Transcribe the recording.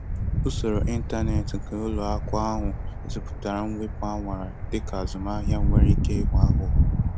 Usoro ịntanetị nke ụlọ akụ ahụ gosipụtara mwepu a nwara dịka azụmahịa nwere ike ịghọ aghụghọ.